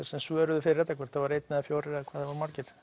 sem svöruðu fyrir þetta hvort sem það var einn eða fjórir þá